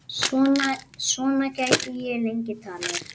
Svona gæti ég lengi talið.